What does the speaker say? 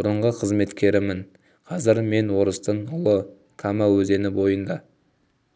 бұрынғы қызметкерімін қазір мен орыстың ұлы кама өзені бойында